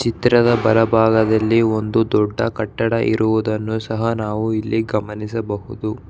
ಚಿತ್ರದ ಬಲಭಾಗದಲ್ಲಿ ಒಂದು ದೊಡ್ಡ ಕಟ್ಟಡ ಇರುವುದನ್ನು ಸಹ ನಾವು ಇಲ್ಲಿ ಗಮನಿಸಬಹುದು.